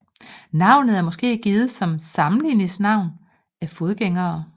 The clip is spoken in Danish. Navnet er måske givet som sammenligningsnavn af fodgængere